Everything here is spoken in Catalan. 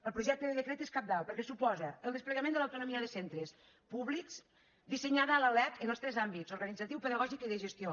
el projecte de decret és cabdal perquè suposa el des·plegament de l’autonomia de centres públics disse·nyada a la lec en els tres àmbits organitzatiu pe·dagògic i de gestió